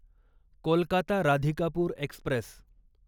Kolkata Radhikapur Express